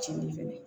Cili fɛnɛ